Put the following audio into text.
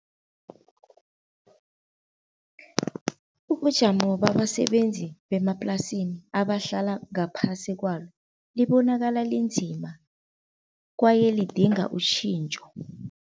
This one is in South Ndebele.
Ubujamo babasebenzi bemaplasini abahlala ngaphasi kwalo, libonakala linzima kwaye lidinga utjhintjho.